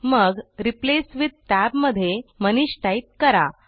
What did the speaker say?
मग replace with tab मध्ये Manish type करा